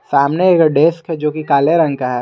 सामने एक डेस्क का जो कि काले रंग का है।